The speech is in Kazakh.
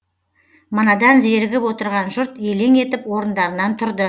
манадан зерігіп отырған жұрт елең етіп орындарынан тұрды